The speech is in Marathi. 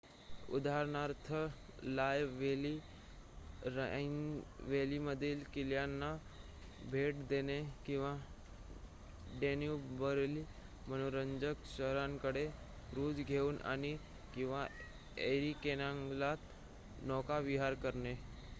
उदाहरणार्थ लॉयर व्हॅली राइन व्हॅलीमधील किल्ल्यांना भेट देणे किंवा डॅन्यूबवरील मनोरंजक शहरांकडे क्रूझ घेऊन जाणे किंवा एरी कॅनालगत नौकाविहार करणे